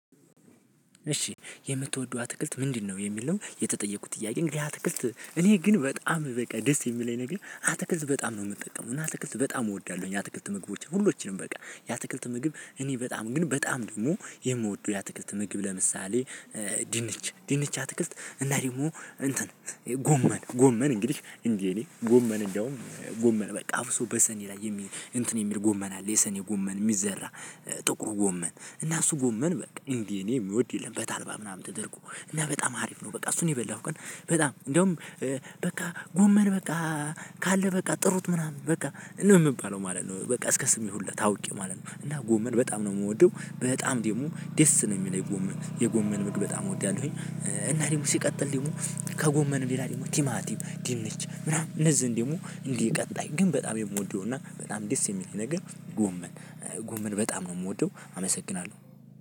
እሺ የምትወደው አትክልት ምንድነው? የሚል ነው የተጠየቁት ጥያቄ። እንግዲህ አትክልት እኔ ግን በጣም በቃ ደስ የሚለኝ ነገር አተክልት በጣም ነው የምጠቀመው እና አትክልት በጣም እወዳለሁ የአትክልት ምግቦችን ሁሉንም በቃ የአትክልት ምግብ እኔ በጣም ግን በጣም ደግሞ የምወደው የአትክልት ምግብ ለምሳሌ፦ ድንች ድንች አትክልት እና ደግሞ ጎመን ጎመን እንግዲህ እንደኔ ጎመን እንደውም ጎመን በቃ አብሶ በሰኔ ላይ የሚል እንትን የሚል ጎመን አለ የሰኔ ጎመን የሚዘራ ጥቁሩ ጎመን እና እሱ ጎመን በቃ እንደ እኔ የሚወድ የለም። በተልባ ምናምን ተደርጎ እና በጣም አሪፍ ነው በቃ እሱን የበላሁ ቀን በጣም እንደውም በቃ ጎመን በቃ ካለ በቃ ጥሩት ምናምን በቃ ነው የምባለው ማለት ነው በቃ እስከ ስሜ ሁላ ታውቄ ማለት ነው። እና ጎመን በጣም ነው የምወደው፤ በጣም ደግሞ ደስ ነው የሚለኝ ጎመን። የጎመን ምግብ በጣም እወዳለሁ። እና ደግሞ ሲቀጥል ደግሞ ከጎመን ሌላ ደግሞ ቲማቲም፣ ድንች ምናምን እነዚህን ደግሞ እንዲህ ቀጣይ ግን በጣም የምወደው እና በጣም ደስ የሚለኝ ነገር ጎመን፣ ጎመን በጣም ነው የምወደው አመሰግናለሁ።